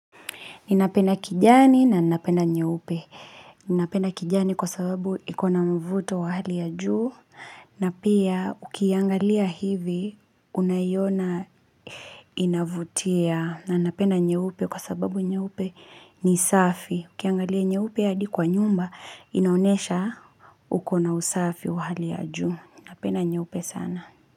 Ninapenda kijani na ninapenda nyeupe. Ninapenda kijani kwa sababu iko na mvuto wa hali ya juu. Na pia ukiiangalia hivi unaiona inavutia. Na napenda nyeupe kwa sababu nyeupe ni safi. Ukiangalia nyeupe hadi kwa nyumba inaonesha uko na usafi wa hali ya juu. Ninapenda nyeupe sana.